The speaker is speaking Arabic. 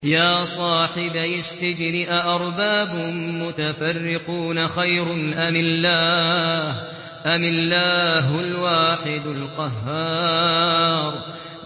يَا صَاحِبَيِ السِّجْنِ أَأَرْبَابٌ مُّتَفَرِّقُونَ خَيْرٌ أَمِ اللَّهُ الْوَاحِدُ الْقَهَّارُ